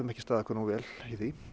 ekki staðið okkur nógu vel í því